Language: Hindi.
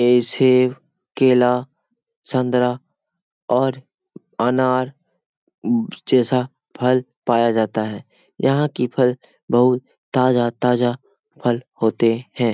ये सेब केला संतरा और अनार जैसा फल पाया जाता है यहाँ की फल बहुत ताजा-ताजा फल होते हैं।